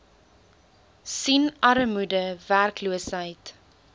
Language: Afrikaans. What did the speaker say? sien armoede werkloosheid